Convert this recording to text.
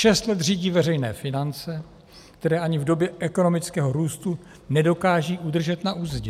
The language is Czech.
Šest let řídí veřejné finance, které ani v době ekonomického růstu nedokážou udržet na uzdě.